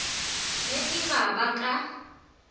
ge e ba ba ka